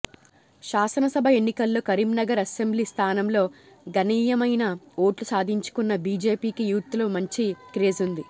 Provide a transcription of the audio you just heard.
శాసనసభ ఎన్నికల్లో కరీంనగర్ అసెంబ్లీ స్థానంలో గణనీయమైన ఓట్లు సాధించుకున్న బీజేపీకి యూత్లో మంచి క్రేజ్ ఉంది